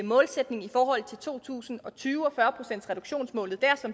målsætning for to tusind og tyve og fyrre procentsreduktionsmålet dér